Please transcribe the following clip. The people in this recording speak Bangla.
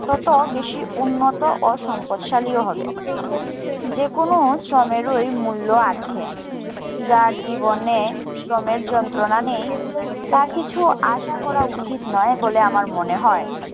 তত বেশি উন্নত ও সম্পদশালী হবে। যে কোনো শ্রমেরই মুল্য আছে। যার জীবনে শ্রমের যন্ত্রনা নেই তার কিছু আশা করা উচিত নয় বলে আমার মনে হয়।